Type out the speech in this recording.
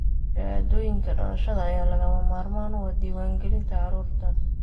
Shahaadooyinka dhalashada ayaa lagama maarmaan u ah diiwaangelinta carruurta.